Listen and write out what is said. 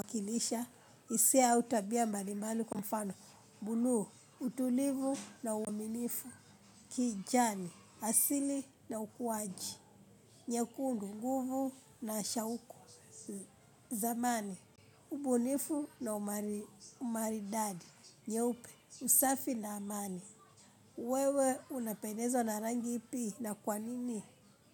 Kwa kilisha, hisia au tabia mbali mbali kwa mfano. Blue utulivu na uaminifu. Kijani, asili na ukuaji. Nyekundu, nguvu na shauku. Zamani, ubunifu na umaridadi. Nyeupe, usafi na amani. Wewe, unapendezwa na rangi ipi na kwanini?